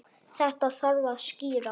Þetta þarf að skýra.